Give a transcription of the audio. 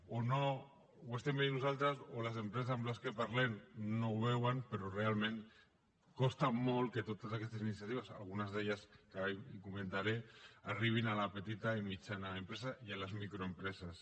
o no ho estem veient nosaltres o les empreses amb les quals parlem no ho veuen però realment costa molt que totes aquestes iniciatives algunes d’elles que ara comentaré arribin a la petita i mitjana empresa i a les micro empreses